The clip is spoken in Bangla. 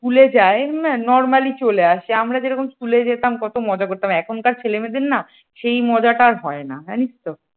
school যায় normally চলে আসে, আমরা যেরকম school যেতাম কত মজা করতাম এখনকার ছেলেমেয়েদের না এই মজাটা আর হয় না জানিস তো?